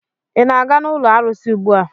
Ị na-aga n'ụlọ arụsị ugbua?